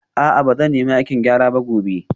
A'a ba zan nemi aikin gyara ba gobe